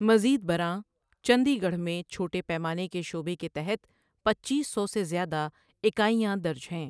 مزید برآں، چندی گڑھ میں چھوٹے پیمانے کے شعبے کے تحت پچیس سو سے زیادہ اکائیاں درج ہیں۔